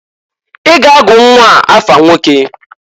I ga-agụ nnwaa afa nwoke!